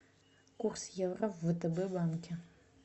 курс евро в втб банке